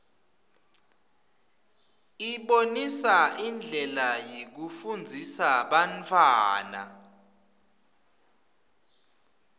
ibonisa indlela yekufundzisa bantfwana